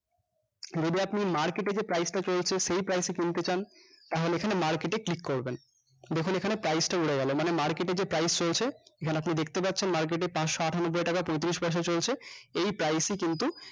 যদি আপনি market এ যে price টা চলছে সেই price এ কিনতে চান তাহলে এখানে market এ click করবেন দেখুন এখানে price টা উড়ে গেলো মানে market এ যে প্রাইস চলছে এখানে আপনি দেখতে পাচ্ছেন market এ পাঁচশ আটানব্বই টাকা পঁয়ত্রিশ পয়সা চলছে এই price ই কিন্তু